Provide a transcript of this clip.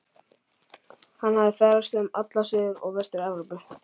Hann hafði ferðast um alla Suður- og Vestur-Evrópu